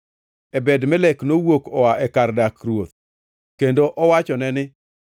Ebed-Melek nowuok oa e kar dak ruoth kendo owachone ni,